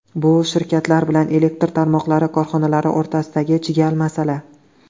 Bu shirkatlar bilan elektr tarmoqlari korxonalari o‘rtasidagi chigal masala.